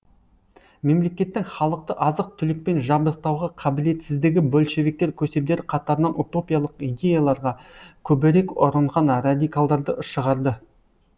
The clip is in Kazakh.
мемлекеттің халықты азық түлікпен жабдықтауға қабілетсіздігі большевиктер көсемдері қатарынан утопиялық идеяларға көбірек ұрынған радикалдарды шығарды